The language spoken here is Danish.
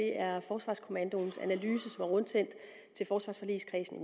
er forsvarskommandoens analyse rundsendt til forsvarsforligskredsen i